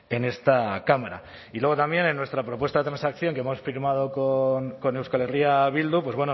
en esta cámara y luego también en nuestra propuesta de transacción que hemos firmado con euskal herria bildu pues